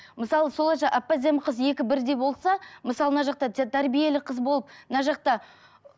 мысалы сол әп әдемі қыз екі бірдей болса мысалы мына жақта тәрбиелі қыз болып мына жақта